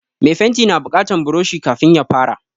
Me fenti na buƙatan buroshi kafin ya fara